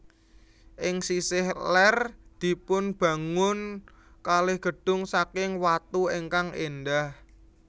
Ing sisih lèr dipunbangun kalih gedung saking watu ingkang èndah